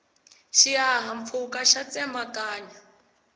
xihahampfhuka xa tsemakanya